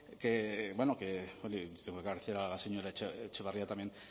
que tengo que agradecer a la señora etxebarria también